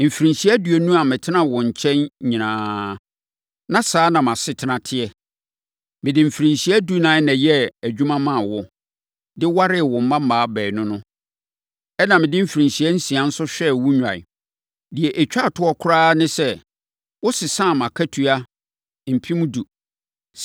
Mfirinhyia aduonu a metenaa wo nkyɛn nyinaa, na saa na mʼasetena teɛ. Mede mfirinhyia dunan na ɛyɛɛ adwuma maa wo, de waree wo mmammaa baanu no. Ɛnna mede mfirinhyia nsia nso hwɛɛ wo nnwan. Deɛ ɛtwa toɔ koraa ne sɛ, wosesaa mʼakatua mpɛn edu.